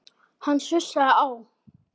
Hann sussaði á